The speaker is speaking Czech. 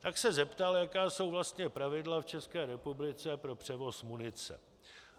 Tak se zeptal, jaká jsou vlastně pravidla v České republice pro převoz munice.